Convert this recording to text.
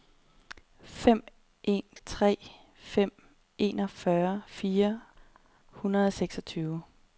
fem en tre fem enogfyrre fire hundrede og seksogtyve